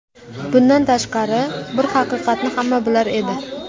Bundan tashqari, bir haqiqatni hamma bilar edi.